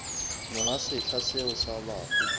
monga setsha seo sa bafu